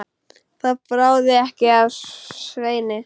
Það bráði ekki af Sveini.